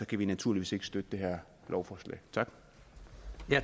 kan vi naturligvis ikke støtte det her lovforslag